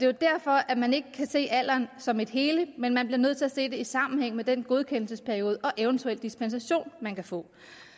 jo derfor at man ikke kan se alderen som et hele men man bliver nødt til at se det i sammenhæng med den godkendelsesperiode og eventuel dispensation man kan få